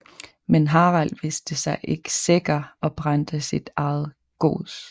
Men Harald vidste sig ikke sikker og brændte sit eget gods